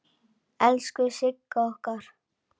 Elsku Sigga okkar!